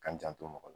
K'an janto mɔgɔ la